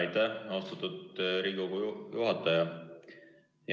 Aitäh, austatud Riigikogu juhataja!